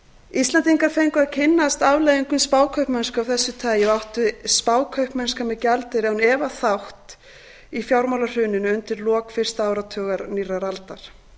íslendingar fengu að kynnast afleiðingum spákaupmennsku af þessu tagi og átti spákaupmennska með gjaldeyri án efa ætti í fjármálahruninu undir lok fyrsta áratugar nýrrar aldar